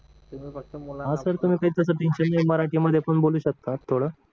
हा सर तुम्ही टेन्शन घेऊन मराठी मध्ये पण बोलू शकता थोडं